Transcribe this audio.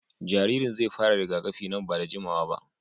Jaririn zai fara rigakafi nan ba da jimawa ba.